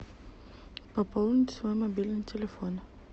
пополнить свой мобильный телефон